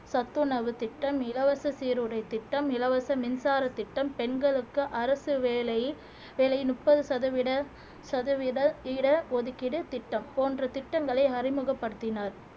சத்துணவுத் திட்டம் இலவச சீருடை திட்டம் இலவச மின்சாரத் திட்டம் பெண்களுக்கு அரசு வேலை வேலை வேலை முப்பது சதவீத சதவீத ஈர ஒதுக்கீடு திட்டம் போன்ற திட்டங்களை அறிமுகப்படுத்தினார்